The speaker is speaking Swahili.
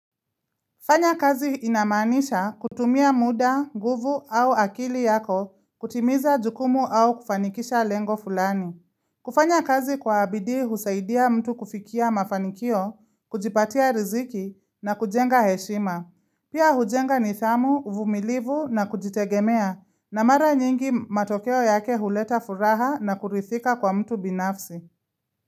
Fanya kazi inamanisha kutumia muda, guvu au akili yako, kutimiza jukumu au kufanikisha lengo fulani. Kufanya kazi kwa bidii husaidia mtu kufikia mafanikio, kujipatia riziki na kujenga heshima. Pia hujenga nidhamu, uvumilivu na kujitegemea na mara nyingi matokeo yake huleta furaha na kurithika kwa mtu binafsi.